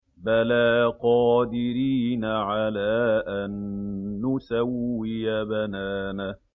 بَلَىٰ قَادِرِينَ عَلَىٰ أَن نُّسَوِّيَ بَنَانَهُ